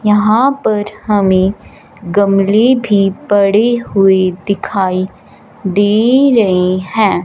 यहां पर हमें गमले भी पड़े हुए दिखाई दे रहे हैं।